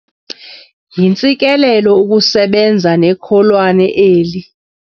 Yintsikelelo ukusebenza nekholwane eli